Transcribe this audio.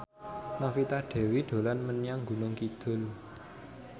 Novita Dewi dolan menyang Gunung Kidul